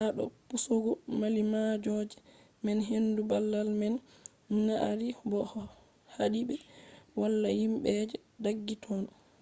ha do pusugo mallimalloje man hendu babal man nyadi bo hadi be valla himbe je daggi totton